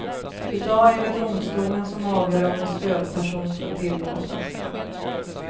I dag är det domstolen som avgör om en stödperson ska tillåtas.